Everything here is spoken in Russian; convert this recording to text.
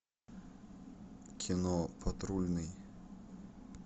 кино патрульный